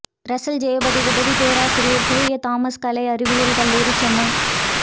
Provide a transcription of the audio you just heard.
Russell Jayapathi உதவிப் பேராசிரியர் தூய தாமஸ் கலை அறிவியல் கல்லூரி சென்னை